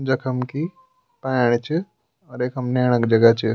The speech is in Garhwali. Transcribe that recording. जखम की पाणी च और यखम नेहणा क जगह च।